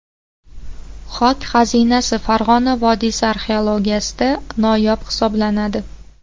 Xok xazinasi Farg‘ona vodiysi arxeologiyasida noyob hisoblanadi.